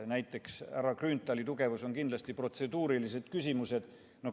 Näiteks härra Grünthali tugevus on kindlasti protseduurilised küsimused.